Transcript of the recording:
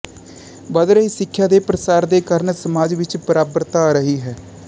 ਵੱਧ ਰਹੇ ਸਿੱਖਿਆ ਦੇ ਪ੍ਰਸਾਰ ਦੇ ਕਾਰਨ ਸਮਾਜ ਵਿੱਚ ਬਰਾਬਰਤਾ ਆ ਰਹੀ ਹੈ